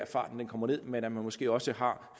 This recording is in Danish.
farten kommer ned men at man måske også har